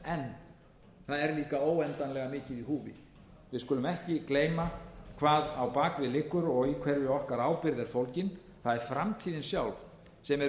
en það er líka óendanlega mikið í húfi við skulum ekki gleyma hvað á bak við liggur og í hverju okkar ábyrgð er fólgin það er framtíðin sjálf sem er